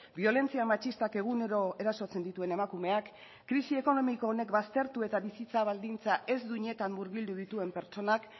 biolentzia matxistak egunero erasotzen dituen emakumeak krisi ekonomiko honek baztertu eta bizitza baldintza ez duinetan murgildu dituen pertsonak